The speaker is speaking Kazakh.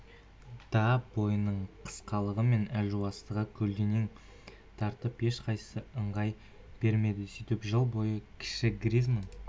да бойының қысқалығы мен әлжуаздығын көлденең тартып ешқайсысы ыңғай бермеді сөйтіп жыл бойы кіші гризманн